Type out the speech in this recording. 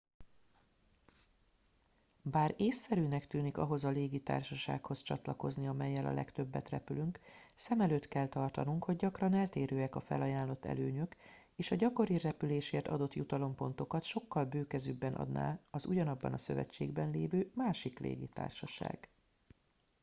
bár észszerűnek tűnik ahhoz a légitársasághoz csatlakozni amellyel a legtöbbet repülünk szem előtt kell tartanunk hogy gyakran eltérőek a felajánlott előnyök és a gyakori repülésért adott jutalompontokat sokkal bőkezűbben adná az ugyanabban a szövetségben lévő másik légitársaság